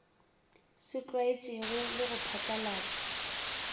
se tlwaetšwego le go phatlalatšwa